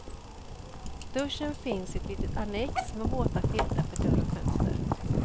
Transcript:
Duschen finns i ett litet annex med våta filtar för dörr och fönster.